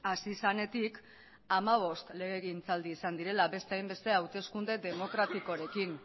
hasi zenetik hamabost legegintzaldi izan direla beste hainbeste hauteskunde demokratikorekin